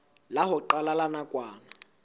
la ho qala la nakwana